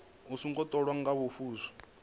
a songo tholiwa nga muvhuso